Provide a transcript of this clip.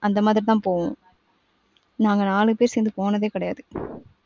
அந்தமாதிரி தான் போவோம். நாங்க நாலு பெரு சேந்து போனதே கிடையாது .